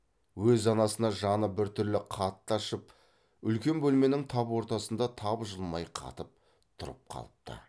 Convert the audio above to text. өз анасына жаны біртүрлі қатты ашып үлкен бөлменің тап ортасында тапжылмай қатып тұрып қалыпты